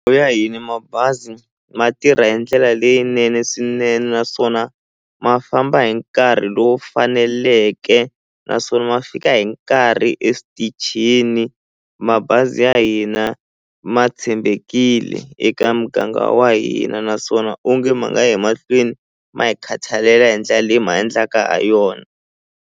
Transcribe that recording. hina mabazi ma tirha hi ndlela leyinene swinene naswona ma famba hi nkarhi lowu faneleke naswona ma fika hi nkarhi eswitichini mabazi ya hina ma tshembekile eka muganga wa hina naswona onge ma nga ya emahlweni ma hi khatalela hi ndlela leyi ma endlaka ha yona.